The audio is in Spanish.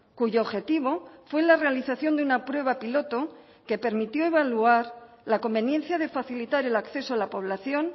cuyo objetivo fue la realización de una prueba piloto que permitió evaluar la conveniencia de facilitar el acceso a la población